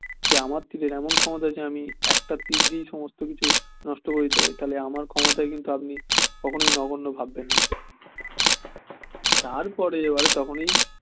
যে আমার তীরের এমন ক্ষমতা একটা তীর দিয়েই সমস্ত কিছু নষ্ট করে দিতে পারি তা হলে আমার ক্ষমতা কিন্তু আপনি কখনোই নগন্য ভাববেন না তারপরে এবারে তখনই